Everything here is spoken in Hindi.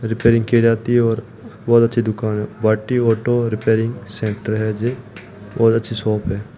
रिपेयरिंग किए जाती है और बहोत अच्छी दुकान हैं वाटी ऑटो रिपेयरिंग सेंटर है ये बहुत अच्छी शॉप है।